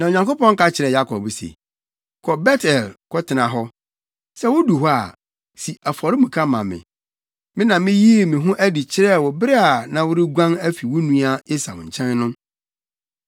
Na Onyankopɔn ka kyerɛɛ Yakob se, “Kɔ Bet-El kɔtena hɔ. Sɛ wudu hɔ a, si afɔremuka ma me. Me na miyii me ho adi kyerɛɛ wo bere a na woreguan afi wo nua Esau nkyɛn no.”